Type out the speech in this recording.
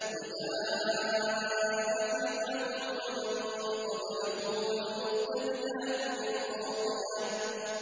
وَجَاءَ فِرْعَوْنُ وَمَن قَبْلَهُ وَالْمُؤْتَفِكَاتُ بِالْخَاطِئَةِ